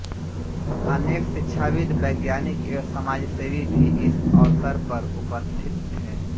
अनेक शिक्षाविद् वैज्ञानिक एवं समाजसेवी भी इस अवसर पर उपस्थित थे